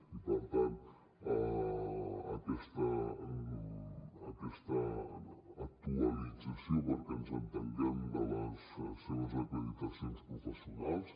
i per tant aquesta actualització perquè ens entenguem de les seves acreditacions professionals